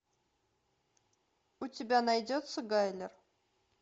у тебя найдется гайлер